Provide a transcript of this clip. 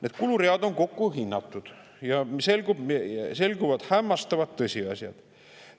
Need kuluread on kokku hinnatud ja selguvad hämmastavad tõsiasjad.